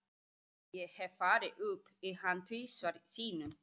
Ég hef farið upp í hann tvisvar sinnum.